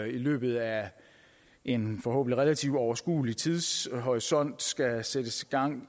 i løbet af en forhåbentlig relativt overskuelig tidshorisont skal sættes gang